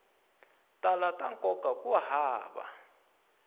tala ta nkoka ku hava